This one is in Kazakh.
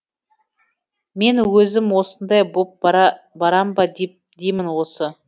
мен өзім осындай боп барам ба деймін осы